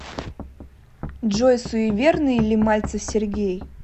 джой суеверный ли мальцев сергей